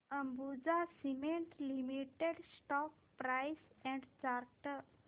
Ambuja cement limited stock price and chart